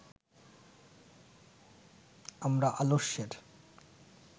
আমরা আলস্যের